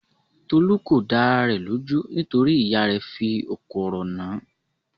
Tolú kò dá ara rẹ̀ lójú nítorí ìyá rẹ̀ fí òkò ọ̀rọ̀ nàn án.